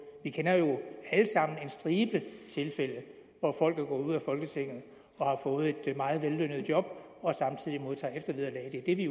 vi kender jo alle sammen en stribe tilfælde hvor folk er gået ud af folketinget og har fået et meget vellønnet job og samtidig modtager eftervederlag det er det vi